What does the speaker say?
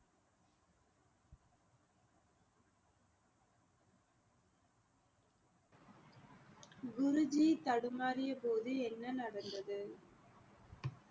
குரு ஜி தடுமாறிய போது என்ன நடந்தது